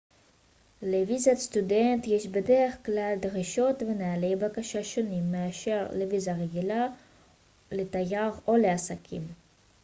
לוויזת סטודנט יש בדרך כלל דרישות ונהלי בקשה שונים מאשר לוויזה רגילה לתייר או לעסקים